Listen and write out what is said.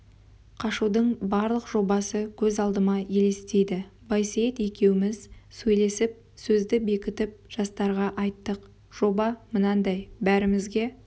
қашудың барлық жобасы көз алдыма елестейді байсейіт екеуміз сөйлесіп сөзді бекітіп жастарға айттық жоба мынандай бәрімізге